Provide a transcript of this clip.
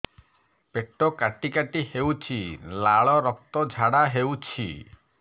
ପେଟ କାଟି କାଟି ହେଉଛି ଲାଳ ରକ୍ତ ଝାଡା ହେଉଛି